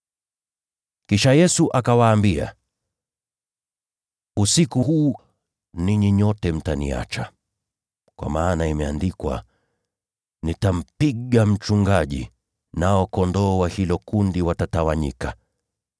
Kisha Yesu akawaambia, “Usiku huu, ninyi nyote mtaniacha, kwa maana imeandikwa: “ ‘Nitampiga mchungaji, nao kondoo wa hilo kundi watatawanyika.’